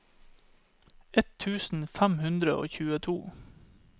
ett tusen fem hundre og tjueto